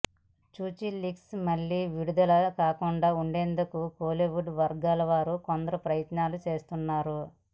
సుచిలీక్స్ మళ్లీ విడుదల కాకుండా ఉండేందుకు కోలీవుడ్ వర్గాల వారు కొందరు ప్రయత్నాలు చేస్తున్నారు